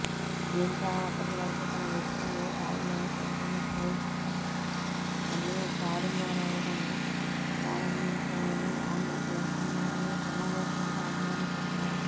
దీంతో అప్పటివరకూ తన విజయం ఖాయమని చెబుతున్న పోల్స్ అన్నీ తారుమారవడం ప్రారంభించాయని ఆమె పేర్కొన్నారని సమావేశానికి హాజరైన చెప్పారు